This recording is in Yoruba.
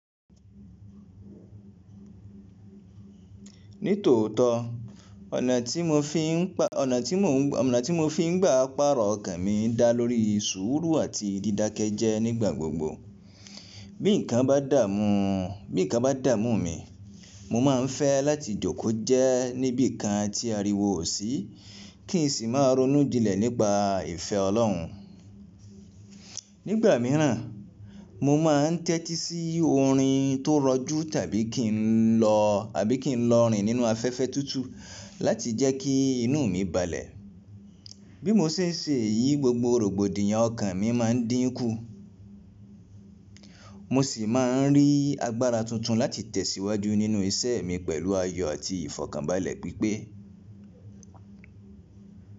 Nítòótọ́, ọ̀nà tí mo fi ń gbà parọ́ ọkàn mi dá lórí sùúrù àti dídake jẹ nígbà gbogbo. Bí nǹkan bá dààmú mi, mo má a ń fẹ́ láti jókòó jẹ́ níbí kan tí a rí wo ò sí, kí n sì máa ronú jinlẹ̀ nípa ìfẹ́ Ọlọ́run. Nígbà míràn, mo má ń tẹ́tí sí orin tó rọjú tàbí kí n lọ rìn nínú afẹ́fẹ́ tútù láti jẹ́ kí inú mi balẹ̀. Bí mo ṣe ń ṣe èyí, gbogbo rògbòdìyàn ọkàn mi má ń dínkù. Mo sì má a ń rí agbára tuntun láti tẹ̀síwájú nínú iṣẹ́ mi pẹ̀lú ayọ̀ àti ìfọ̀kànbalẹ̀ pípé.